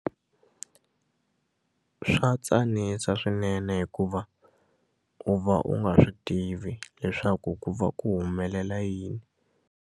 Swatsanisa swinene hikuva u va u nga swi tivi leswaku ku va ku humelela yini.